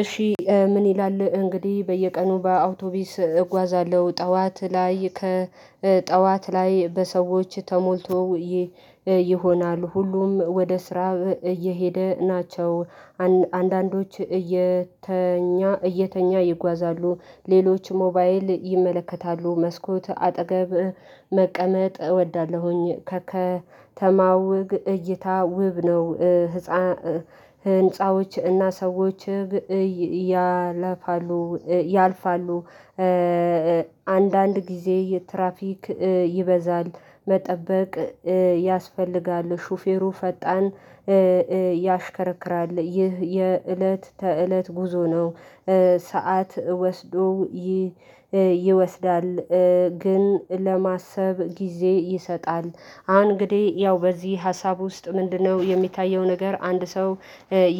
እሺ ምን ይላል እንግዲህ በየቀኑ በአውቶቢስ እጓዛለሁ ጠዋት ላይ ጠዋት ላይ ጠዋት ላይ በሰዎች ተሞልቶ። ይሆናል ሁሉም ወደ ስራ እየሄደ ናቸው። አንዳንዶች እየተኛ እየተኛ ይጓዛሉ ሌሎች ሞባይል ይመለከታሉ መስኮት አጠገብ መቀመጥ እወዳለሁኝ ከከተማው እይታ ውብ ነው። ህንፃዎች እና ሰዎች ያለፋሉ ያልፋሉ። አንዳንድ ጊዜ ትራፊክ ይበዛል መጠበቅ ያስፈልጋል ሹፌሩ ፈጣን ያሽከረክራል ይህ የእለት ተእለት ጉዞ ነው። ሰዓት ወስዶ ይወስዳል ግን ለማሰብ ጊዜ ይሰጣል። አሁን እንግዲህ ያው በዚህ ሀሳብ ውስጥ ምንድነው? የሚታየው ነገር አንድ ሰው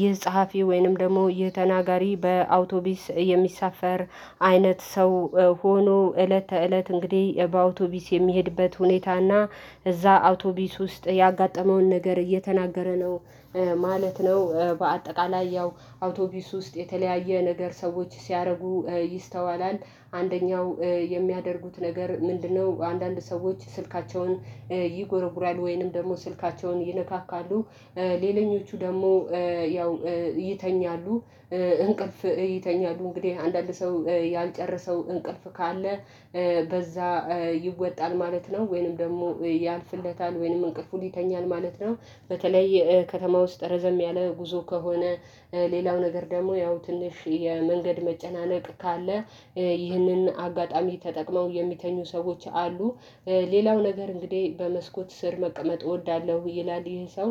ይህ ጸሐፊ ወይንም ደግሞ ይህ ተናጋሪ በአውቶቢስ የሚሳፈር አይነት ሰው ሆኖ እለት ተእለት እንግዲህ በአውቶቢስ የሚሄድበት ሁኔታና እዛ አውቶቢስ ውስጥ ያጋጠመውን ነገር እየተናገረ ነው ማለት ነው። በአጠቃላይ ያው አውቶቢስ ውስጥ የተለያየ ነገር ሰዎች ሲያደርጉ ይስተዋላል። አንደኛው የሚያደርጉት ነገር ምንድነው? አንዳንድ ሰዎች ስልካቸውን ይጎረጉራሉ ወይንም ደግሞ ስልካቸውን ይነካካሉ ሌለኞቹ ደግሞ ያው ይተኛሉ። እንቅልፍ ይተኛሉ እንግዲህ አንዳንድ ሰው ያልጨረሰው እንቅልፍ ካለ በዛ ይወጣል ማለት ነው ወይንም ደግሞ ያልፍለታል ወይንም እንቅፍን ይተኛል ማለት ነው። በተለይ ከተማ ውስጥ ረዘም ያለ ጉዞ ከሆነ ሌላው ነገር ደግሞ ያው ትንሽ የመንገድ መጨናነቅ ካለ ይህንን አጋጣሚ ተጠቅመው የሚተኙ ሰዎች አሉ። ሌላው ነገር እንግዲህ በመስኮት ስር መቀመጥ እወዳለሁ ይላል ይሄ ሰው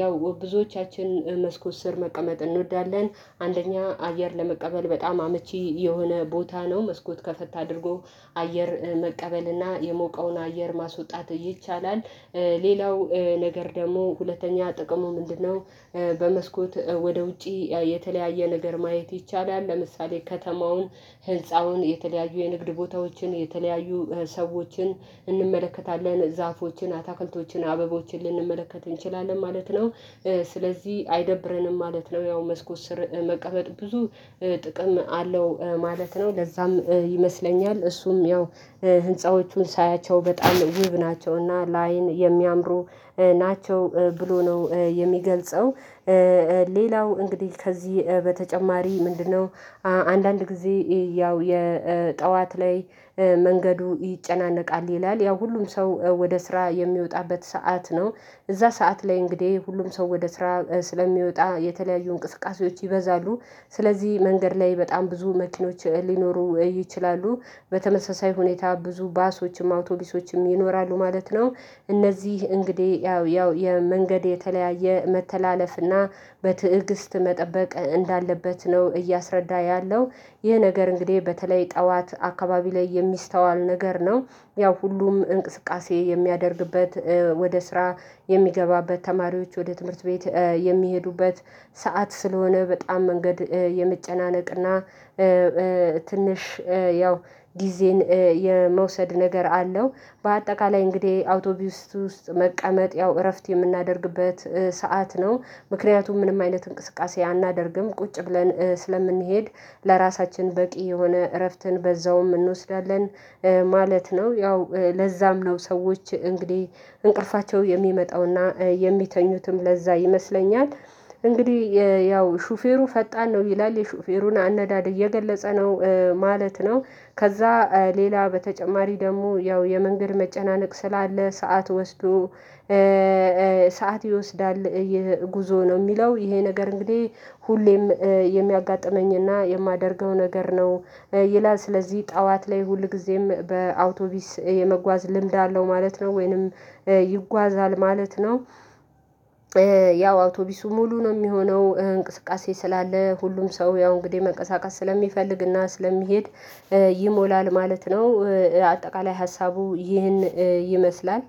ያው ብዙዎቻችን መስኮት ስር መቀመጥ እንወዳለን። አንደኛ አየር ለመቀበል በጣም አመቺ የሆነ ቦታ ነው መስኮት ከፈት አድርጎ አየር መቀበል እና የሞቀውን አየር ማስውጣት ይቻላል። ሌላው ነገር ደግሞ ሁለተኛ ጥቅሙ ምንድነው? በመስኮት ወደ ውጪ የተለያየ ነገር ማየት ይቻላል ለምሳሌ ከተማውን ህልፃውን የተለያዩ የንግድ ቦታዎችን የተለያዩ ሰዎችን እንመለከታለን ዛፎችን አታክልቶችን አበቦችን ልንመለከት እንችላለን ማለት ነው። ስለዚህ አይደብረንም ማለት ነው። ያው መስኮት ስር መቀመጥ ብዙ ጥቅም አለው ማለት ነው። ለዛም ይመስለኛል እሱም ያው ህንፃዎቹን ሳያቸው በጣም ውብ ናቸውና ለአይን የሚያምሩ ናቸው ብሎ ነው የሚገልጸው። ሌላው እንግዲህ ከዚህ በተጨማሪ ምንድነው? አንዳንድ ጊዜ ያው የጠዋት ላይ መንገዱ ይጨናነቃል ይላል ያው ሁሉም ሰው ወደ ስራ የሚወጣበት ሰዓት ነው እዛ ሰዓት ላይ እንግዲህ ሁሉም ሰው ወደ ስራ ስለሚወጣ የተለያዩ እንቅስቃሴዎች ይበዛሉ። ስለዚህ መንገድ ላይ በጣም ብዙ መኪኖች ሊኖሩ ይችላሉ። በተመሳሳይ ሁኔታ ብዙ ባሶችም አውቶሊሶችም ይኖራሉ ማለት ነው። እነዚህ እንግዲህ ያው ያው የመንገድ የተለያየ መተላለፍ እና በትዕግስት መጠበቅ እንዳለበት ነው እያስረዳ ያለው። ይህ ነገር እንግዲህ በተለይ ጠዋት አካባቢ ላይ የሚስተዋል ነገር ነው። ያው ሁሉም እንቅስቃሴ የሚያደርግበት ወደ ስራ የሚገባበት ተማሪዎች ወደ ትምህርት ቤት የሚሄዱበት ሰዓት ስለሆነ በጣም መንገድ የመጨናነቅና ትንሽ ያው ጊዜን የመውሰድ ነገር አለው። በአጠቃላይ እንግዲህ አውቶቢስ ውስጥ መቀመጥ ያው እረፍት የምናደርግበት ሰዓት ነው ምክንያቱም ምንም አይነት እንቅስቃሴ አናደርግም ቁጭ ብለን ስለምንሄድ ለራሳችን በቂ የሆነ እረፍትን በዛውም እንወስዳለን። ማለት ነው ያው ለዛም ነው ሰዎች እንግዲህ እንቅልፋቸው የሚመጣውና የሚተኙትም ለዛ ይመስለኛል። እንግዲህ ያው ሹፌሩ ፈጣን ነው ይላል የሹፌሩን አነዳደግ እየገለጸ ነው ማለት ነው። ከዛ ሌላ በተጨማሪ ደግሞ ያው የመንገድ መጨናነቅ ስላለ ሰዓት ወስዶ ሰዓት ይወስዳል ይህ ጉዞ ነው የሚለው ይሄ ነገር እንግዲህ ሁሌም የሚያጋጥመኝና የማደርገው ነገር ነው። ይላል ስለዚህ ጠዋት ላይ ሁልጊዜም በአውቶቢስ የመጓዝ ልምድ አለው ማለት ነው ወይንም ይጓዛል ማለት ነው። ያው አውቶቢሱ ሙሉ ነው የሚሆነው እንቅስቃሴ ስላለ ሁሉም ሰው ያው እንግዲህ መንቀሳቀስ ስለሚፈልግና ስለሚሄድ ይሞላል ማለት ነው። አጠቃላይ ሀሳቡ ይህን ይመስላል